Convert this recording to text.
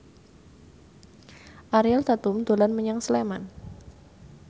Ariel Tatum dolan menyang Sleman